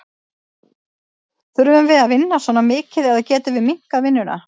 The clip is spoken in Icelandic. Þurfum við að vinna svona mikið eða getum við minnkað vinnuna?